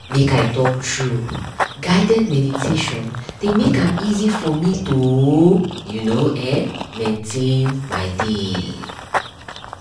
make i talk true guided meditation dey make am easy for me toyou know[um]maintain my dey